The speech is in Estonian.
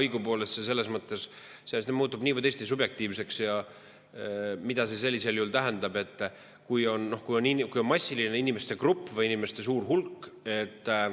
Õigupoolest see muutub nii või teisiti subjektiivseks, mida see sellisel juhul tähendab, kui on niisugune suur hulk inimesi.